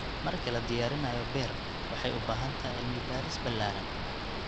Marka la diyaarinayo beer, waxay u baahan tahay cilmi baaris ballaaran.